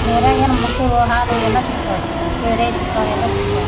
Dairy ಯಾಗ ಏನ ಮೊಸರು ಹಾಲು ಎಲ್ಲ ಶಿಗ್ತಾವ್ ರೀ ಪೇಡೆ ಶಿಗ್ತಾವ್ ಎಲ್ಲ ಶಿಗ್ತಾವ್.